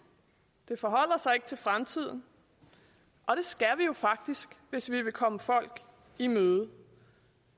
det forholder sig ikke til fremtiden og det skal vi jo faktisk hvis vi vil komme folk i møde